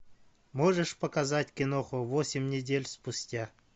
можешь показать киноху восемь недель спустя